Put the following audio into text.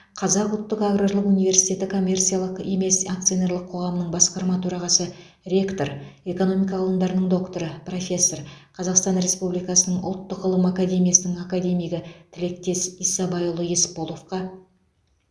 қазақ ұлттық аграрлық университеті коммерциялық емес акционерлік қоғамының басқарма төрағасы ректор экономика ғылымдарының докторы профессор қазақстан республикасының ұлттық ғылым академиясының академигі тілектес исабайұлы есполовқа